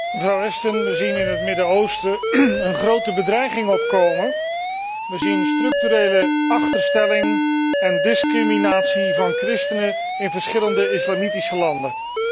Voorzitter, mevrouw Ashton, we zien in het Midden Oosten een grote bedreiging opkomen, we zien structurele achterstelling en discriminatie van christenen in verschillende islamitische landen.